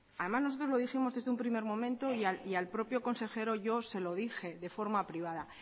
además nosotros lo dijimos desde un primer momento y al propio consejero yo se lo dije de forma privada